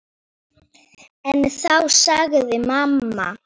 En þá sagði mamma